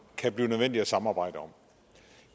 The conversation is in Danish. kan blive nødvendigt at samarbejde om